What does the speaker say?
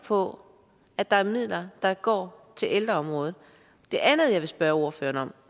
på at der er midler der går til ældreområdet det andet jeg vil spørge ordføreren